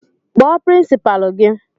Kpọọ pirinsipalu gị!